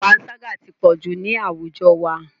Panṣágà ti pọ̀jù ní àwùjọ wa.